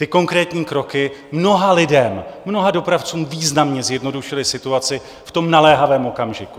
Ty konkrétní kroky mnoha lidem, mnoha dopravcům významně zjednodušily situaci v tom naléhavém okamžiku.